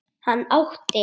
Hann átti